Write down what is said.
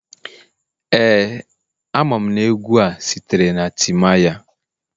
Ee, amam na egwu a sitere na timaya